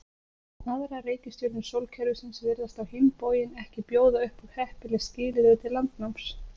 Aðrar reikistjörnur sólkerfisins virðast á hinn bóginn ekki bjóða upp á heppileg skilyrði til landnáms.